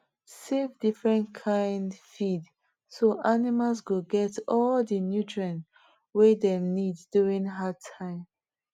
save different kind feed so animals go get all the nutrients way dem need during hard time